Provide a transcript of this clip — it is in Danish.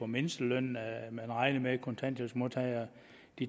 mindsteløn man regner med kontanthjælpsmodtagere